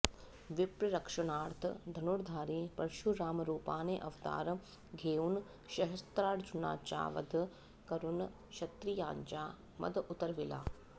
विप्ररक्षणार्थ धनुर्धारी परशुराम रूपाने अवतार घेऊन सहस्त्रार्जुनाचा वध करून क्षत्रियांचा मद उतरविला